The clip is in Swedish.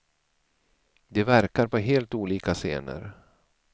De verkar på helt olika scener.